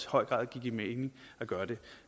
høj grad give mening at gøre det